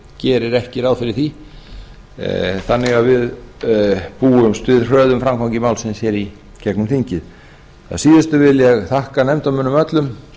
gerir ekki ráð fyrir því þannig að við búumst við hröðum framgangi málsins í gegnum þingið að síðustu vil ég þakka nefndarmönnum öllum